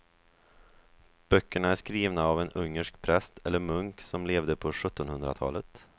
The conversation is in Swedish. Böckerna är skrivna av en ungersk präst eller munk som levde på sjuttonhundratalet.